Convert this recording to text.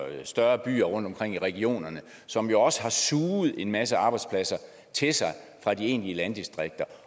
større byer rundtomkring i regionerne som jo også har suget en masse arbejdspladser til sig fra de egentlige landdistrikter